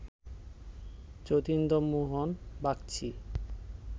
Jatindra Mohan Bagchi